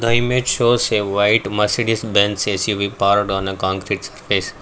the image shows a white Mercedes-Benz AC we on a concrete space.